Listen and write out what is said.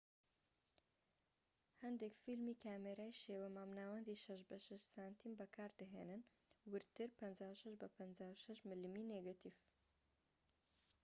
هەندێک فیلمی کامێرای شێوە مامناوەندی 6 بە 6 سم بەکاردەهێنن ووردتر 56 بە 56 ملمی نێگەتیڤ